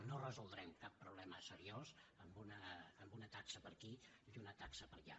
no resoldrem cap problema seriós amb una taxa per aquí i una taxa per allà